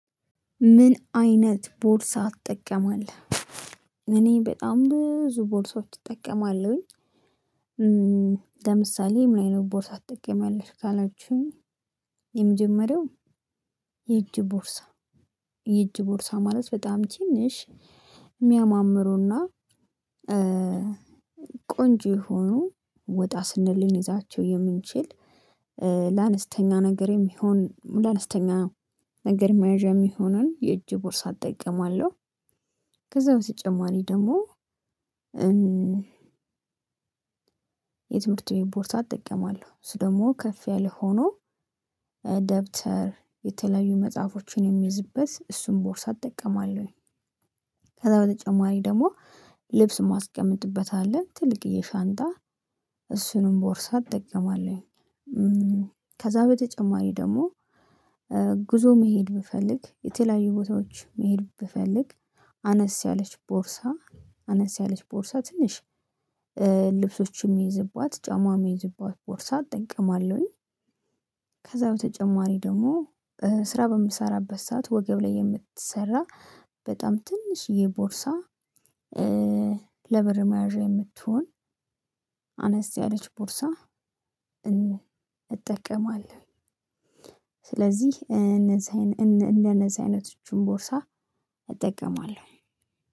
ምን አይነት ቦርሳ አትጠቀማለህ? እኔ በጣም ብዙ ቦርሳዎች እጠቀማለሁኝ። ለምሳሌ ምን አይነት ቦርሳ አትጠቀሚያለሽ ካላችሁኝ። የመጀመሪያው የእጅ ቦርሳ የእጅ ቦርሳ ማለት በጣም ትንሽ የሚያማምሩና ቆንጆ የሆኑ ወጣ ስንል ልንይዛቸው የምንችል ለአነስተኛ ነገር የሚሆን ለአነስተኛ ነገር የሚያዣ የሚሆኑ የእጅ ቦርሳ እጠቀማለሁ። ከዛ በተጨማሪ ደግሞ የትምህርት ቤት ቦርሳ እጠቀማለሁ እሱ ደግሞ ከፍ ያለ ሆኖ ደብተር የተለያዩ መጽሐፎችን የሚይዝበት እሱን ቦርሳ እጠቀማለሁኝ። ከዛ በተጨማሪ ደግሞ ልብስ ማስቀመጥበት አለ ትልቅዪ ሻንጣ እሱንም ቦርሳ እጠቀማለሁ። ከዛ በተጨማሪ ደግሞ ጉዞ መሄድ ብፈልግ የተለያዩ ቦታዎች መሄድ ብፈልግ አነስ ያለች ቦርሳ አነስ ያለች ቦርሳ ትንሽ ልብሶችም የምይዝባት ጫማም የምይዝባት ቦርሳ እጠቀማለሁኝ። ከዛ በተጨማሪ ደግሞ ስራ በምሰራበት ሰዓት ወገብ ላይ የምትሰራ በጣም ትንሽዬ ቦርሳ ለብር ማያዣ የምትሆን አነስ ያለች ቦርሳ እጠቀማለሁ። ስለዚህ እነዛን እንደነዚ አይነቶችን ቦርሳ እጠቀማለሁ።